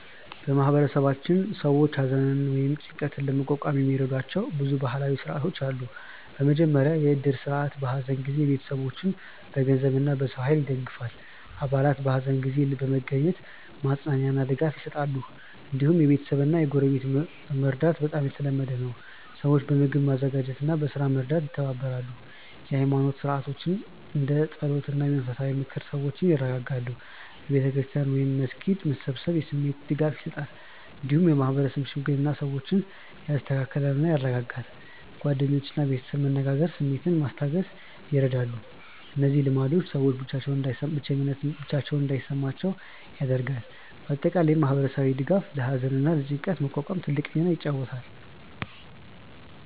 በማህበረሰባችን ሰዎች ሐዘንን ወይም ጭንቀትን ለመቋቋም የሚረዷቸው ብዙ ባህላዊ ሥርዓቶች አሉ። በመጀመሪያ የእድር ስርዓት በሐዘን ጊዜ ቤተሰቦችን በገንዘብ እና በሰው ኃይል ይደግፋል። አባላት በሐዘን ቤት በመገኘት ማጽናኛ እና ድጋፍ ይሰጣሉ። እንዲሁም የቤተሰብ እና የጎረቤት መርዳት በጣም የተለመደ ነው። ሰዎች በምግብ ማዘጋጀት እና በስራ መርዳት ይተባበራሉ። የኃይማኖት ሥርዓቶች እንደ ጸሎት እና የመንፈሳዊ ምክር ሰዎችን ያረጋጋሉ። በቤተ ክርስቲያን ወይም መስጊድ መሰብሰብ የስሜት ድጋፍ ይሰጣል። እንዲሁም የማህበረሰብ ሽምግልና ሰዎችን ያስተካክላል እና ያረጋጋል። ጓደኞች እና ቤተሰብ መነጋገር ስሜትን ማስታገስ ይረዳሉ። እነዚህ ልማዶች ሰዎች ብቻቸውን እንዳይሰማቸው ያደርጋሉ። በአጠቃላይ ማህበረሰባዊ ድጋፍ ለሐዘን እና ለጭንቀት መቋቋም ትልቅ ሚና ይጫወታል።